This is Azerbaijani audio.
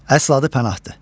Əsl adı Pənahdır.